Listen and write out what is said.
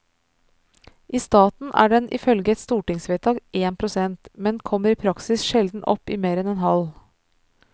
I staten er den ifølge et stortingsvedtak én prosent, men kommer i praksis sjelden opp i mer enn en halv.